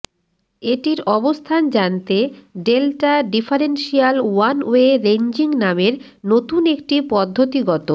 এটির অবস্থান জানতে ডেলটা ডিফারেনশিয়াল ওয়ানওয়ে রেঞ্জিং নামের নতুন একটি পদ্ধতি গত